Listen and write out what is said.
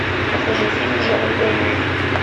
покажи фильм в жанре боевик